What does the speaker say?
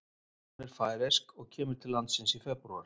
Hún er færeysk og kemur til landsins í febrúar.